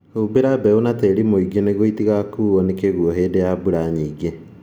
Humbĩra mbeũ na tĩri mũingĩ nĩguo itigakuo nĩ kĩguo hĩndĩ ya mbura nyingĩ